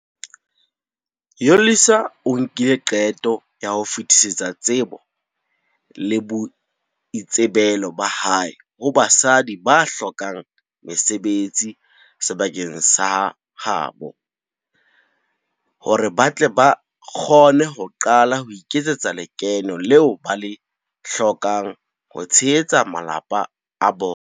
Yolisa o nkile qeto ya ho fetisetsa tsebo le boitsebelo ba hae ho basadi ba hlokang mesebetsi sebakeng sa ha bo, hore ba tle ba kgone ho qala ho iketsetsa lekeno leo ba le hlokang ho tshehetsa malapa a bona.